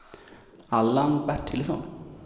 Allan Bertilsson